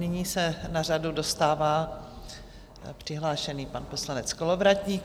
Nyní se na řadu dostává přihlášený pan poslanec Kolovratník.